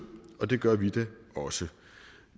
og det gør vi da også